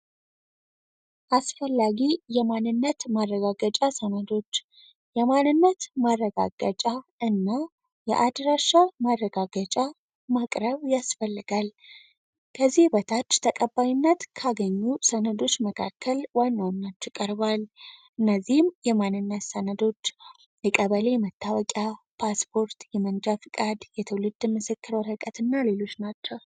አስፈላጊ የማንነት ማረጋገጫ ሰነዶች የማንነት ማረጋገጫ እና የአድራሻ ማረጋገጫ ማቅረብ ያስፈልጋል። ከዚህ በታች ተቀባይነት ካገኙ ሰነዶች መካከል ዋነው ናችቀርባል እነዚህም የማንነት ሰነዶች የቀበሌ የመታወቂያ ፣ፓስፖርት የመንጃ ፍቃድ የትውልድ ምስክር ወረቀት ና ሌሎች ናቸው።